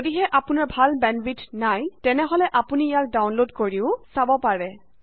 যদিহে আপোনাৰ ভাল বেন্দৱিডথ নাই তেনে আপুনি ইয়া ডাউনলোড কৰিব পাৰে আৰু চাব পাৰে